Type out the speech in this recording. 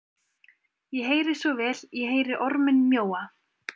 Ég heyri svo vel, ég heyri orminn mjóa,